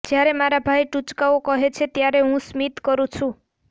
જ્યારે મારા ભાઇ ટુચકાઓ કહે છે ત્યારે હું સ્મિત કરું છું